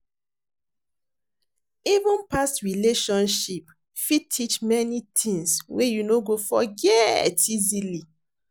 Even past relationship fit teach many tings wey you no go forget easily.